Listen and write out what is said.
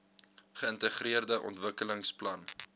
geintegreerde ontwikkelings plan